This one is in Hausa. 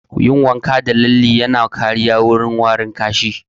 Yin wanka da lalle yana kariya wurin warin ƙashi